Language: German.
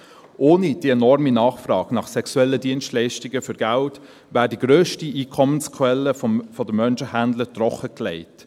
Ohne diese enorme Nachfrage nach sexuellen Dienstleistungen für Geld wäre die grösste Einkommensquelle der Menschenhändler trockengelegt.